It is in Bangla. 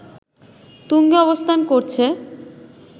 তুঙ্গে অবস্থান করছে